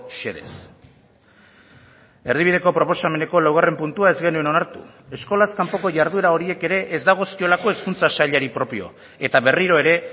xedez erdibideko proposameneko laugarren puntua ez genuen onartu eskolaz kanpoko jarduera horiek ere ez dagozkiolako hezkuntza sailari propio eta berriro ere